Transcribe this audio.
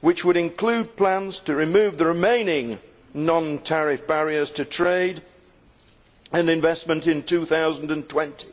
which would include plans to remove the remaining non tariff barriers to trade and investment in 2020,